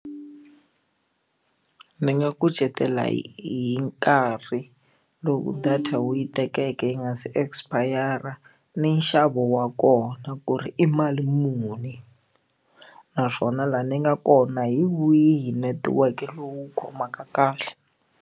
Ni nga kucetela hi nkarhi loko data wu yi tekeke yi nga se expire-a ni nxavo wa kona ku ri i mali muni naswona laha ni nga kona hi wihi netiweke lowu khomaka kahle.